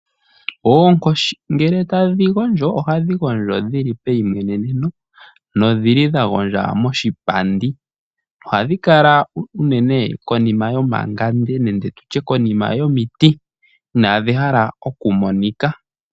Oonkoshi ngele tadhi gondjo, ohadhi gondjo dhi li meyimweneneno, nodhi li dha gondja moshipandi. Ohadhi kala unene konima yomangande nenge tutye konima yomiti, inadhi hala okumonika.